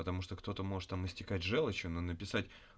потому что кто-то может там истекать жёлчью но написать